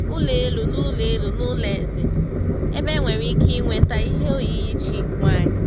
Ụlọ elu n’ụlọ elu n’ụlọ eze, ebe e nwere ike ịnweta ihe oyiyi chi nwanyị.